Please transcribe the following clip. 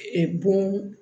bon